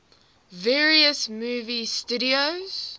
various movie studios